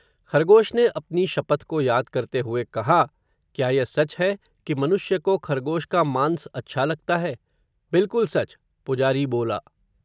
खरगोश ने अपनी शपथ को याद करते हुए कहा, क्या यह सच है, कि मनुष्य को, खरगोश का मांस अच्छा लगता है, बिलकुल सच, पुजारी बोला